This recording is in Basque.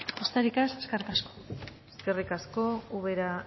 besterik ez eskerrik asko eskerrik asko ubera